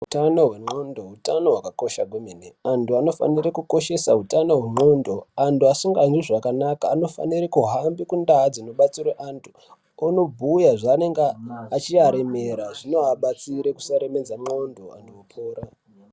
Utano hwengondlo utano hwakakosha kwemene antu anofana kukoshesa utano hwengondlo antu asinganzwi zvakanaka anofanira kuhambe kundaa dzinobatsirwa antu onobhuya zvinenge zvichivaremera zvinovabatsira kusaremedza ngondlo antu opora.